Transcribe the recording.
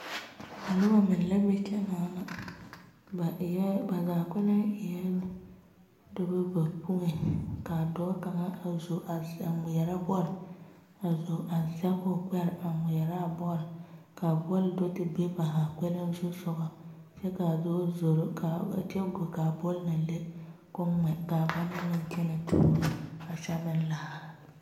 Noba meŋ la be kyɛ naana ba eɛ ba zaa kpɛleŋ eɛ dɔɔba bayoi kaa dɔɔ kaŋa a zo a ŋmeɛrɛ bol a zo a zage o gbere a ŋmeɛraa bol kaa bol do te be ba zaa kpɛleŋ zu soga kyɛ kaa dɔɔ zoro kyɛ go kaa bol na le ko'o ŋmɛ kaa ba na meŋ kyɛne tuuro a kyɛ meŋ laara.